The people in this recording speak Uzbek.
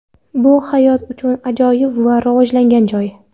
Bu hayot uchun ajoyib va rivojlangan joy.